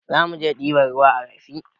Zamuje ɗiban ruwa a rafi